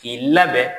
K'i labɛn